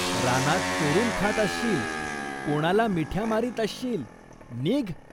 रानात चोरून खात असशील, कोणाला मिठ्या मारीत असशील, नीघ.